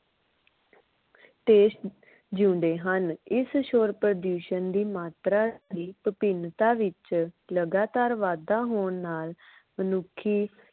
ਤੇ ਜਿਉਂਦੇ ਹਨ। ਇਸ ਸ਼ੋਰ ਪ੍ਰਦੂਸ਼ਣ ਦੀ ਮਾਤਰਾ ਦੀ ਵਿਭਿੰਨਤਾ ਵਿਚ ਲਗਾਤਾਰ ਵਾਧਾ ਹੋਣ ਨਾਲ ਮਨੁੱਖੀ